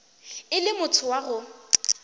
e le motho wa go